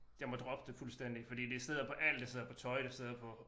Jeg må droppe det fuldstændig fordi det sidder på alt det sidder på tøj det sidder på